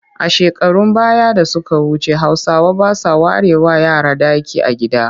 A shekarun baya da suka wuce Hausawa ba sa warewa yara ɗaki a gida